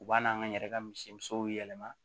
U b'a n'an ka n yɛrɛ ka misi musow yɛlɛma